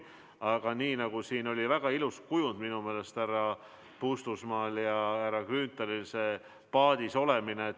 Aga minu meelest oli härra Puustusmaal ja härra Grünthalil siin enne väga ilus kujund: ühes paadis olemine.